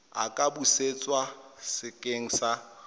a ka busetswa sekeng sa